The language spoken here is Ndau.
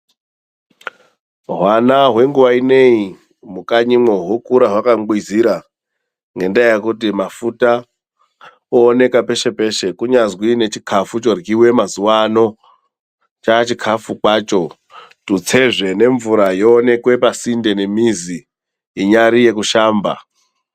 Hwana hwenguwa inei, mukanyimo hwokura hwakangwizira ngendaa yekuti mafuta ooneka peshe peshe. kunyazwi nechikafu choryiwa mazuwano chachikafu kwacho tutsezve nemvura yooneka pasinde nemizi inyari yekushamba.